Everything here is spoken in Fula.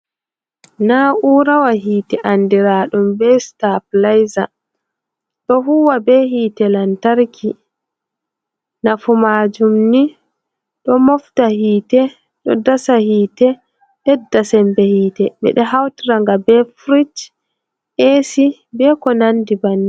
Na'urawa hite andiraɗum be sitapilayza. Ɗo huwa be hite lantarki. Nafu majum ni do mofta hiite, ɗo dasa hite, ɓedda sembe hite. Ɓeɗo hautira nga be firish, esi, be ko nandi bannin.